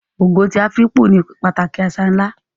Ogo ti Afikpo ní pàtàkì àṣà ńlá